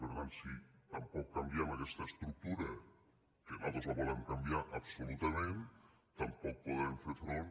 per tant si tampoc canviem aquesta estructura que nosaltres la volem canviar absolutament tampoc podrem fer front